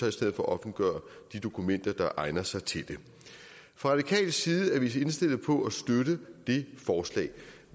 i stedet for at offentliggøre de dokumenter der egner sig til det fra radikal side er vi indstillet på at støtte det forslag